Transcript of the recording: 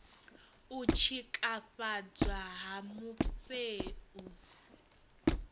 u tshikafhadzwa ha mufhe u